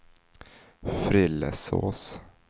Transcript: Frillesås